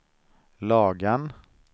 Lagan